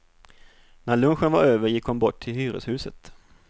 När lunchen var över gick hon bort till hyreshuset.